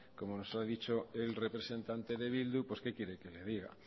como se lo ha dicho el representante de eh bildu pues qué quiere que le diga